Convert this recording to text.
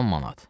10 manat.